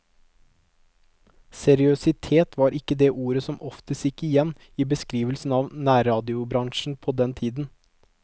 Seriøsitet var ikke det ordet som oftest gikk igjen i beskrivelsen av nærradiobransjen på den tiden.